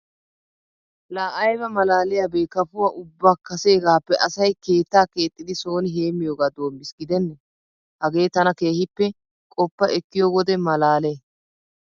Laa ayba malaaliyabee kafuwa ubba kaseegaappe asay keettaa keexxidi sooni heemmiyogaa doommiis gidenne! Hagee tana keehippe qoppa ekkiyo wode malaalee.